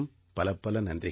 பலப்பல நன்றிகள்